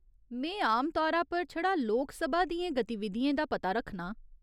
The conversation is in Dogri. में आमतौरा पर छड़ा लोकसभा दियें गतिविधियें दा पता रक्खनां।